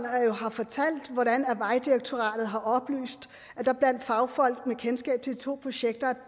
har fortalt hvordan vejdirektoratet har oplyst at der blandt fagfolk med kendskab til de to projekter